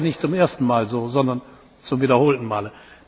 Aber das ist ja nicht zum ersten Mal so, sondern zum wiederholten Male.